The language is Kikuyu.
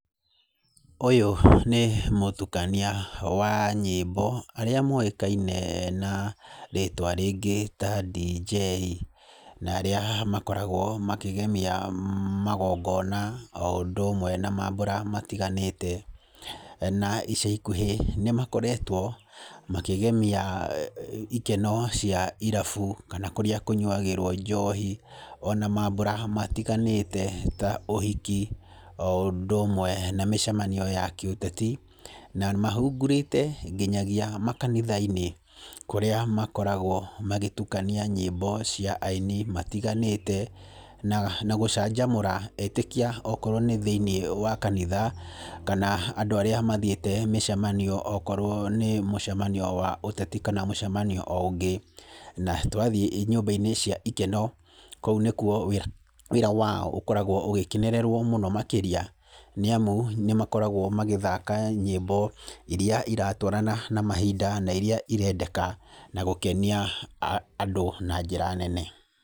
Ũyũ nĩ mũtukania wa nyĩmbo arĩa moĩkaine na, rĩtwa rĩngĩ ta dj, na arĩa makoragwo makĩgemia magongona oũndũ ũmwe na mambura matĩganĩte, na ica ikũhĩ nĩmakoretwo makĩgemia i i ikeno cia irabu kana kũrĩa kũnyuagĩrwo njohi ona mambura matĩganĩte ta ũhiki oũndũ ũmwe na mĩcemanio ya kĩũteti na mahungurĩte nginyagia makanitha-inĩ kũrĩa makoragwo magĩtũkania nyĩmbo cia aini matĩganĩte na nagũcanjamũra etĩkia okorwo nĩ thĩinĩ wa kanitha kana andu arĩa mathiĩte mĩcemanio okorwo nĩ mũcemanio wa ũteti kana mũcemanio o ũngĩ na twathiĩ thĩinĩ wa nyũmba cia ikeno kũu nĩkuo wĩra wa wao ũkoragwo ũgĩkenererwo mũno makĩria, nĩamu nĩmakoragwo magĩthaka nyĩmbo iria iratwarana na mahinda na iria irendeka na gũkenia, a andũ na njĩra nene.